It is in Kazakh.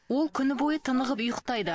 ол күні бойы тынығып ұйықтайды